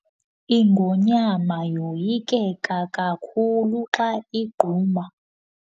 ingonyama yoyikeka kakhulu xa igquma.